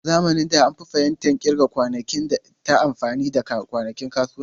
A zamanin da, an fi fahimtar kirga kwanakin ta amfani da kwanakin kasuwanni.